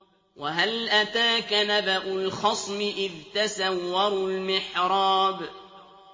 ۞ وَهَلْ أَتَاكَ نَبَأُ الْخَصْمِ إِذْ تَسَوَّرُوا الْمِحْرَابَ